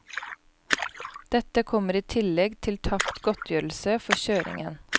Dette kommer i tillegg til tapt godtgjørelse for kjøringen.